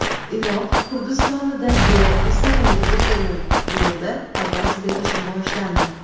Iroq Kurdistonidagi mustaqillik referendumida ovoz berish boshlandi.